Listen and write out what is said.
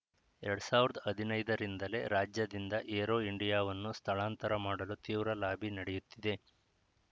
ಎರಡ್ ಸಾವಿರದ ಹದಿನೈದರಿಂದಲೇ ರಾಜ್ಯದಿಂದ ಏರೋ ಇಂಡಿಯಾವನ್ನು ಸ್ಥಳಾಂತರ ಮಾಡಲು ತೀವ್ರ ಲಾಬಿ ನಡೆಯುತ್ತಿದೆ